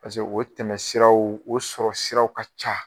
Pase o tɛmɛ siraw o sɔrɔ siraw ka ca